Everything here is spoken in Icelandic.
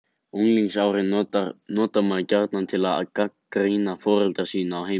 Unglingsárin notar maður gjarnan til að gagnrýna foreldra sína og heimili.